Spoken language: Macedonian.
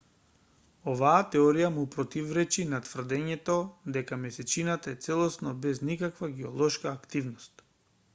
оваа теорија му противречи на тврдењето дека месечината е целосно без никаква геолошка активност